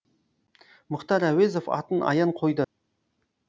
мұхтар әуезов атын аян қойды